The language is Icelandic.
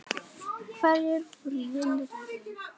Hverjir voru vinir í raun?